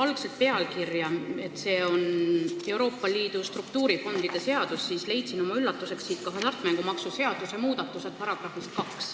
Kui pealkirja vaadata, siis see on Euroopa Liidu struktuurifondide seadus, aga oma üllatuseks leidsin siit §-st 2 ka hasartmängumaksu seaduse muudatused.